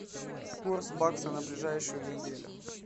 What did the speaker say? курс бакса на ближайшую неделю